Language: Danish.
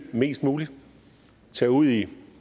mest muligt at tage ud i